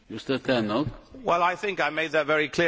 I think I made that very clear in my intervention.